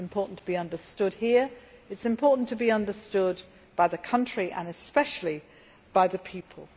It is important that it be understood here, and that it be understood by the country and especially by the people.